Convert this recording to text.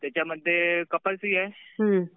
त्याच्यामध्ये कपाशी आहे.